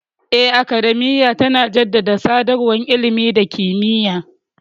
Eh, Academiya tana jaddada sadarwar ilimi da kimiyya.